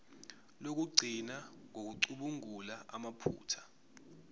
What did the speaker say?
lokugcina ngokucubungula amaphutha